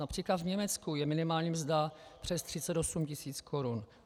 Například v Německu je minimální mzda přes 38 tis. korun.